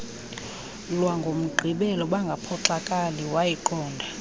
lwangomgqibelo bangaphoxakali wayiqonda